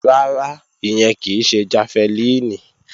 Rárá, ìyẹn kì í ṣe jafẹlíìnì